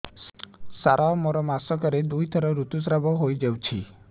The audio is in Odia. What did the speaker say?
ସାର ମୋର ମାସକରେ ଦୁଇଥର ଋତୁସ୍ରାବ ହୋଇଯାଉଛି